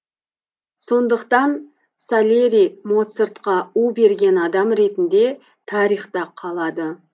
сондықтан сальери моцартқа у берген адам ретінде тарихта қалады